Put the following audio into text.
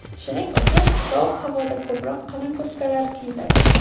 Shuning uchun sovuq havoda ko‘proq qalin kurtkalar kiyiladi.